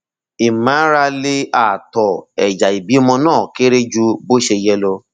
ìmárale ààtọ ẹyà ìbímọ náà kéré ju bó ṣe yẹ lọ